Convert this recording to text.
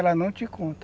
Ela não te conta.